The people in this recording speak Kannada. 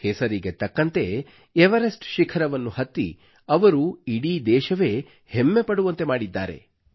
ಹೆಸರಿಗೆ ತಕ್ಕಂತೆ ಎವರೆಸ್ಟ್ ಶಿಖರವನ್ನು ಹತ್ತಿ ಅವರು ಇಡೀ ದೇಶವೇ ಹೆಮ್ಮೆ ಪಡುವಂತೆ ಮಾಡಿದ್ದಾರೆ